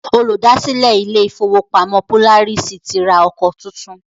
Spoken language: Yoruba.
Olùdásílẹ̀ ilé ìfọwọ́pamo Polaris ti ra ọkọ tuntun.